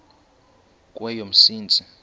kweyomsintsi